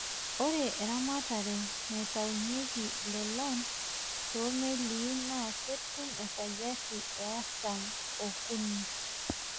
Ore eramatare naitaunyeki ilolan too meli naa ketum esajati e artam o kuni.